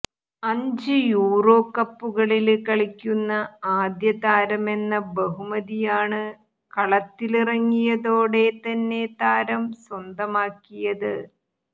അഞ്ച് യൂറോ കപ്പുകളില് കളിക്കുന്ന ആദ്യ താരമെന്ന ബഹുമതിയാണ് കളത്തിലിറങ്ങിയതോടെ തന്നെ താരം സ്വന്തമാക്കിയത്